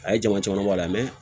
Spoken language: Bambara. A ye jama caman bɔ a la